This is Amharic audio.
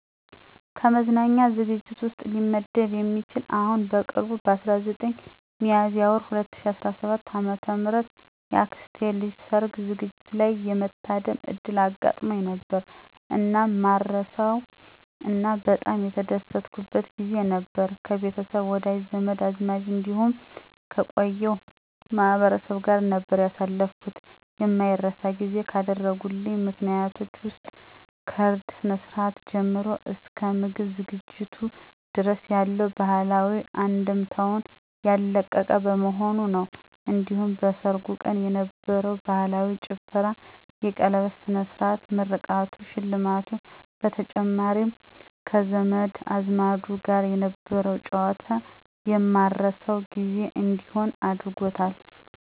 ከመዝናኛ ዝግጅት ውስጥ ሊመደብ የሚችል አሁን በቅርቡ በ19 ሚያዝያ ወር 2017 ዓ.ም የአክስቴ ልጅ የሠርግ ዝግጅት ላይ የመታደም ዕድል አጋጥሞኝ ነበር። እናም ማረሳው እና በጣም የተደሰትኩበት ጊዜ ነበር። ከቤተሰብ፣ ወዳጅ፣ ዘመድ አዝማድ እንዲሁም ከቀዬው ማህበረሰብ ጋር ነበር ያሳለፍኩት። የማይረሳ ጊዜ ካደረጉልኝ ምክንያቶች ውስጥ ከእርድ ስነ-ስርአቱ ጀምሮ እስከ ምግብ አዘገጃጀቱ ድረስ ያለው ባህላዊ አንድምታውን ያለቀቀ በመሆኑ ነው። እንዲሁም በሠርጉ ቀን የነበረው ባህላዊ ጭፈራ፣ የቀለበት ስነ-ስርዓቱ፣ ምርቃቱ፣ ሽልማቱ በተጨማሪም ከዘመድ አዝማዱ ጋር የነበረው ጨዋታ የማረሳው ጊዜ እንዲሆን አድርጎታል።